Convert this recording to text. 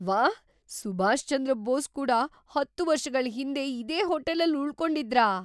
ವಾಹ್! ಸುಭಾಷ್ ಚಂದ್ರ ಬೋಸ್ ಕೂಡ‌ ೧೦ ವರ್ಷಗಳ್ ಹಿಂದೆ ಇದೇ ಹೋಟೆಲಲ್ಲಿ ಉಳ್ಕೊಂಡಿದ್ರಾ?